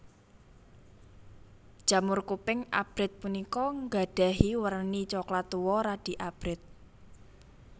Jamur kuping abrit punika nggadhahi werni coklat tuwa radi abrit